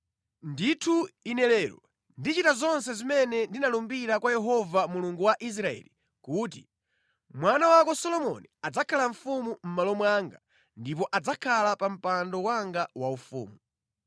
ndithu ine lero ndichita zonse zimene ndinalumbira kwa Yehova Mulungu wa Israeli kuti, mwana wako Solomoni adzakhala mfumu mʼmalo mwanga ndipo adzakhala pa mpando wanga waufumu.”